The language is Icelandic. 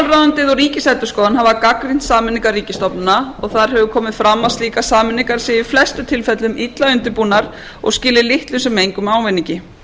og ríkisendurskoðun hafa gagnrýnt sameiningar ríkisstofnana og þar hefur komið fram að slíkar sameiningar séu í flestum tilfellum illa undirbúnar og skili litlum sem engum ávinningi